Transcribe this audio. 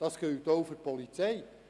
Das gilt auch für die Polizei.